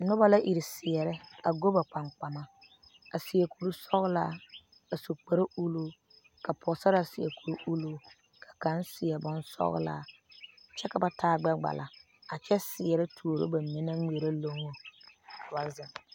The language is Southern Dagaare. Noba la iri seɛre a go ba gbamgbama, a seɛ kur sɔglaa a su kpare ulluu ka pɔge sarraa seɛ kur ulluu , ka kaŋ seɛ bonsɔglaa kyɛ ka ba taa gbɛɛ kpala a kyɛ seɛre tuuro ba mine naŋ ŋmeɛre loŋŋo ka ba zeŋ.